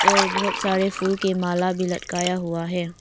और बहुत सारे फूल के माला भी लटकाया हुआ है।